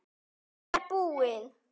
Þetta var búið.